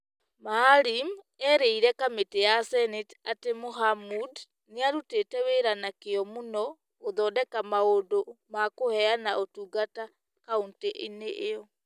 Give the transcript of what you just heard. Maalim eerire kamĩtĩ ya Senate atĩ Mohamud nĩ arutĩte wĩra na kĩyo mũno gũthondeka maũndũ ma kũheana ũtungata kauntĩ-inĩ ĩyo